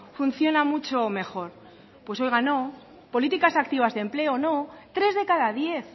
funciona mucho mejor pues oiga no políticas activas de empleo no tres de cada diez